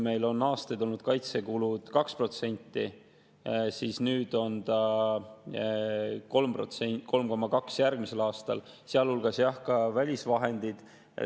Meil on aastaid olnud kaitsekulud 2%, nüüd on 3%, järgmisel aastal 3,2%, sealhulgas on, jah, ka välisvahendid.